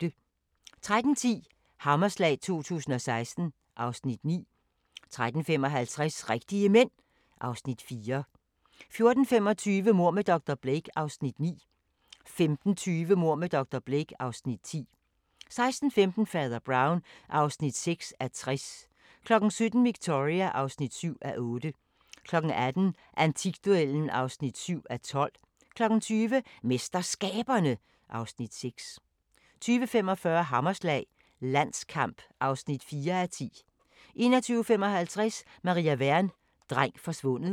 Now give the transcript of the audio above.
13:10: Hammerslag 2016 (Afs. 9) 13:55: Rigtige Mænd (Afs. 4) 14:25: Mord med dr. Blake (Afs. 9) 15:20: Mord med dr. Blake (Afs. 10) 16:15: Fader Brown (6:60) 17:00: Victoria (7:8) 18:00: Antikduellen (7:12) 20:00: MesterSkaberne (Afs. 6) 20:45: Hammerslag – Landskamp (4:10) 21:55: Maria Wern: Dreng forsvundet